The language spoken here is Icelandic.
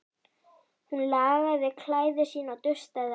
Hún lagaði klæði sín og dustaði af þeim.